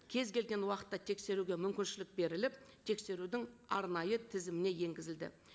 кез келген уақытта тексеруге мүмкіншілік беріліп тексерудің арнайы тізіміне енгізілді